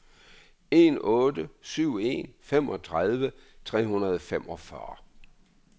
en otte syv en femogtredive tre hundrede og femogfyrre